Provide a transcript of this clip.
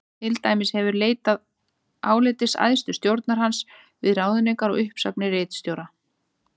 Til dæmis hefur verið leitað álits æðstu stjórnar hans við ráðningar og uppsagnir ritstjóra.